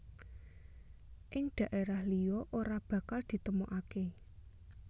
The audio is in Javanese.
Ing daerah liya ora bakal ditemukake